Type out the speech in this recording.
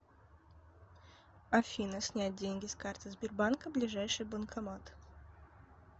афина снять деньги с карты сбербанка ближайший банкомат